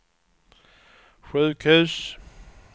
sjukhus